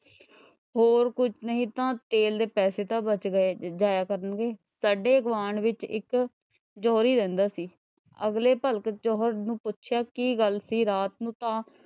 ਹੋਰ ਕੁਛ ਨਈਂ ਤਾਂ ਤੇਲ ਦੇ ਪੈਸੇ ਤਾਂ ਬਚ ਜਾਇਆ ਕਰਨਗੇ, ਸਾਡੇ ਗੁਆਂਢ ਵਿੱਚ ਇੱਕ ਜੌਹਰੀ ਰਹਿੰਦਾ ਸੀ। ਅਗਲੇ ਭਲਕ ਚ ਉਹਨੇ ਪੁੱਛਿਆ ਕੀ ਗੱਲ ਸੀ ਰਾਤ ਨੂੰ ਤਾਂ,